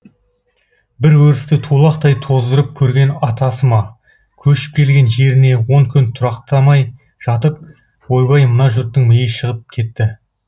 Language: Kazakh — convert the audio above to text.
бір өрісті тулақтай тоздырып көрген атасы ма көшіп келген жеріне он күн тұрақтамай жатып ойбай мына жұрттың миы шығып кетті